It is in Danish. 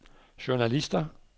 journalister